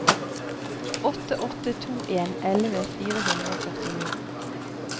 åtte åtte to en elleve fire hundre og førtini